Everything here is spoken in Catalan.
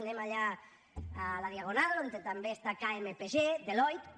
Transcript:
anem allà a la diagonal on també està kpmg deloitte